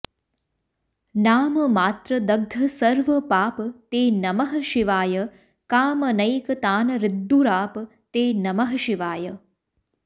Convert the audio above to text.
नाममात्रदग्धसर्वपाप ते नमः शिवाय कामनैकतानहृद्दुराप ते नमः शिवाय